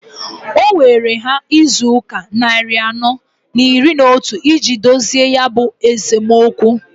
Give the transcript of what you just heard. O weere ha izuụka nnarị anọọ n'iri n'otu iji dozie ya bụ esomokwu.